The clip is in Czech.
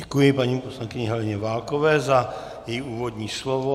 Děkuji paní poslankyni Heleně Válkové za její úvodní slovo.